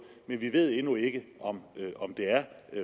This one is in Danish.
men vi ved endnu ikke om det er